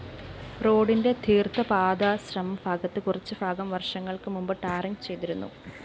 റോഡിന്റെ തീര്‍ത്ഥപാദാശ്രമം ഭാഗത്ത് കുറച്ച്ഭാഗം വര്‍ഷങ്ങള്‍ക്ക് മുമ്പ് ടാറിങ്‌ ചെയ്തിരുന്നു